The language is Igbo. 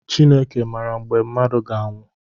Chineke maara mgbe mmadụ ga anwụ.